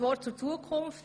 Soviel zur Zukunft.